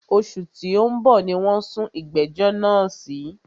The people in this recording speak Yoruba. Òṣù tí o ń bọ̀ ní wọ́n sún ìgbẹ̀jọ́ náà sí.